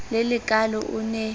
le le kaalo o ne